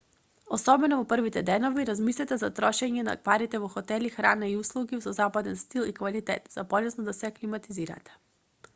особено во првите денови размислете за трошење на парите во хотели храна и услуги со западен стил и квалитет за полесно да се аклиматизирате